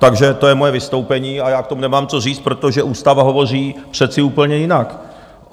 Takže to je moje vystoupení a já k tomu nemám co říct, protože ústava hovoří přece úplně jinak!